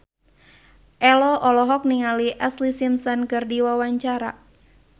Ello olohok ningali Ashlee Simpson keur diwawancara